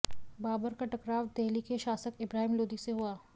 बाबर का टकराव देहली के शासक इब्राहिम लोदी से हुआ